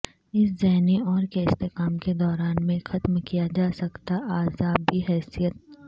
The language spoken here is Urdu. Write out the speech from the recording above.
اس ذہنی اور کے استحکام کے دوران میں ختم کیا جا سکتا اعصابی حیثیت